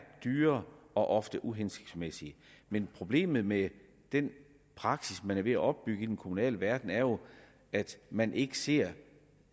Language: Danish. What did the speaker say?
dyrere og ofte er uhensigtsmæssige men problemet med den praksis man er ved at opbygge i den kommunale verden er jo at man ikke ser